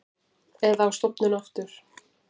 Eða á stofnun aftur.